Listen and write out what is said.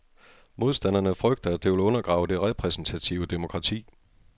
Modstanderne frygter, at det vil undergrave det repræsentative demokrati.